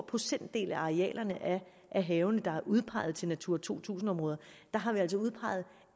procentdel af arealerne af havene der er udpeget til natura to tusind områder der har vi altså udpeget